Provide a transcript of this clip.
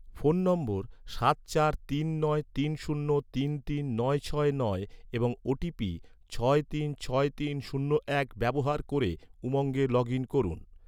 phone নম্বর সাত চার তিন নয় তিন শূন্য তিন তিন নয় ছয় নয় এবং ওটিপি ছয় তিন ছয় তিন শূন্য এক ব্যবহার ক’রে, উমঙ্গে লগ ইন করুন